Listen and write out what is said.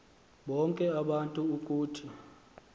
bonke abantu ukuthi